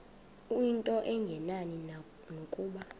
into engenani nokuba